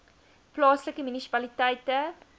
plaaslike munisipaliteit